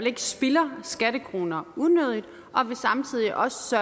ikke spilder skattekroner unødigt og at vi samtidig også